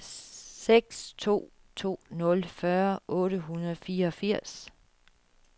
seks to to nul fyrre otte hundrede og fireogfirs